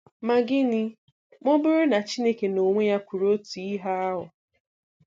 Ma gịnị ma ọ bụrụ na Chineke n'onwe ya kwuru otu ihe ahụ?